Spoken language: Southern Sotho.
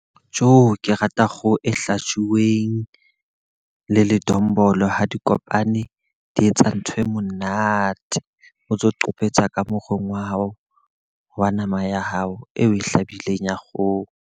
Ke rata kgoho e hlajuweng le ledombolo, ha di kopane di etsa ntho e monate. O ntso qopetsa ka morong wa hao, wa nama ya hao e o e hlabileng ya kgoho.